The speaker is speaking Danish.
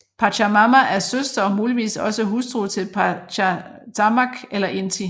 Pachamama er søster og muligvis også hustru til Pachacamac eller Inti